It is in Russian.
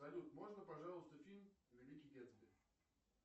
салют можно пожалуйста фильм великий гэтсби